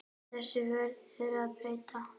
Þessu verður að breyta.